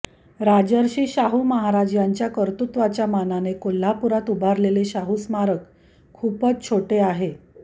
राजर्षी शाहू महाराज यांच्या कर्तृत्वाच्या मानाने कोल्हापुरात उभारलेले शाहू स्मारक खूपच छोटे आहे